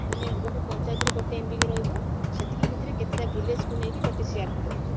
ମାନେ ଗୋଟେ ପାଞ୍ଚାୟତରେ ଗୋଟେ MBK ରହିବ ସେତିକି ଭିତରେ କେତେଟା village କୁ ନେଇକି ଗୋଟେ CRP ରହୁଛି